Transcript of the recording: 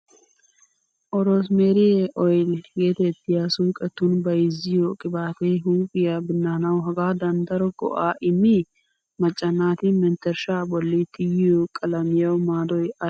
"Oroosimeeriy oyli" geetettiya, suuqetun bayziyo qibaatee huuphiyaa binnaanawu hegaadan daro go"aa immii? Macca naati menttershshaa bolli tiyiyo qalamiyawu maadoy aybee?